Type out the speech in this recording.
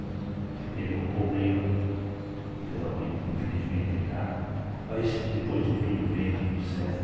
Porque teve um problema, geralmente, infelizmente dá, mas depois deu tudo bem, tudo certo.